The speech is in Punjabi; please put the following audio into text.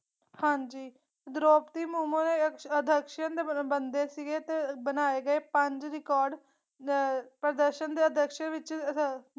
ਹਾਂਜੀ ਦ੍ਰੋਪਦੀ ਮੋਮੁ ਦੇ ਅਧਯਕ੍ਸ਼ਨ ਬ ਬੰਦੇ ਸੀਗੇ ਤੇ ਬਣਾਏ ਗਏ ਪੰਜ ਰਿਕਾਰਡ ਅਹ ਪ੍ਰਦਰਸ਼ਨ ਦੇ ਅਧਿਅਕਸ਼ ਵਿਚ।